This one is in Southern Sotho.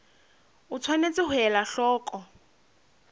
o tshwanetse ho ela hloko